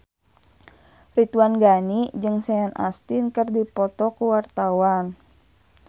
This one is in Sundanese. Ridwan Ghani jeung Sean Astin keur dipoto ku wartawan